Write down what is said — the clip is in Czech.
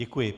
Děkuji.